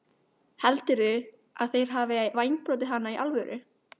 Heldurðu að þeir hafi vængbrotið hana í alvöru?